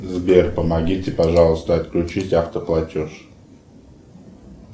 сбер помогите пожалуйста отключить автоплатеж